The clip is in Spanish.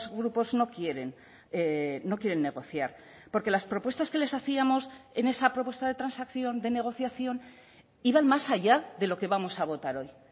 grupos no quieren no quieren negociar porque las propuestas que les hacíamos en esa propuesta de transacción de negociación iban más allá de lo que vamos a votar hoy